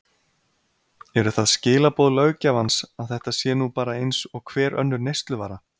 Eru það skilaboð löggjafans að þetta sé nú bara eins og hver önnur neysluvara?